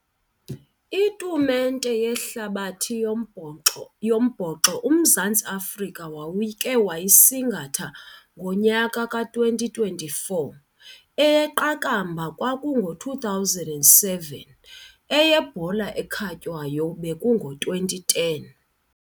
Itumente yehlabathi yombhoxo yombhoxo uMzantsi Afrika wawukhe wayisingatha ngonyaka ka-twenty twenty-four, eyeqakamba kwakungo-two thousand and seven, eyebhola ekhatywayo bekungo-twenty ten.